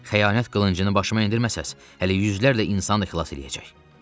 Xəyanət qılıncını başıma endirməzsəz, hələ yüzlərlə insanı xilas eləyəcək.